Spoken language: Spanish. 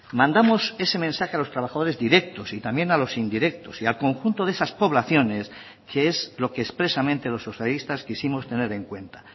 mandamos ese mensaje a los trabajadores directos y también a los indirectos y al conjunto de esas poblaciones que es lo que expresamente los socialistas quisimos tener en cuenta